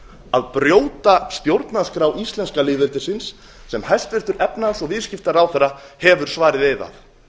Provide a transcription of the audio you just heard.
að brjóta stjórnarskrá íslenska lýðveldisins sem hæstvirtur efnahags og viðskiptaráðherra hefur svarið eið að